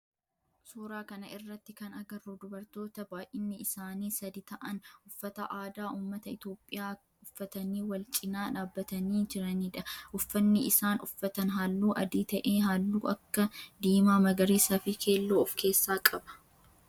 Suuraa kana irratti kan agarru dubartoota baayyinni isaanii sadi ta'aan uffata aadaa ummata Itiyoophiyaa uffatanii walcinaa dhaabbatanii jiranidha. Uffanni isaan uffatan halluu adii ta'ee halluu akka diimaa, magariisaa fi keelloo of keessaa qaba.